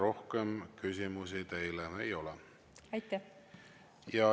Rohkem küsimusi teile ei ole.